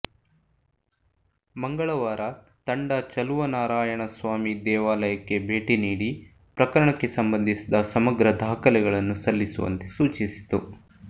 ಮಂಗಳವಾರ ತಂಡ ಚಲುವನಾರಾಯಣ ಸ್ವಾಮಿ ದೇವಾಲಯಕ್ಕೆ ಭೇಟಿ ನೀಡಿ ಪ್ರಕರಣಕ್ಕೆ ಸಂಬಂಧಿಸಿದ ಸಮಗ್ರ ದಾಖಲೆಗಳನ್ನು ಸಲ್ಲಿಸುವಂತೆ ಸೂಚಿಸಿತು